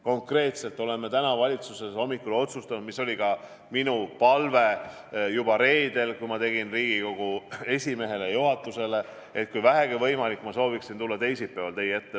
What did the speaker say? Konkreetselt otsustasime täna hommikul valitsuses, nagu oli ka minu palve juba reedel, kui ma tegin Riigikogu esimehele ja juhatusele ettepaneku, et kui vähegi võimalik, ma sooviksin tulla teisipäeval teie ette.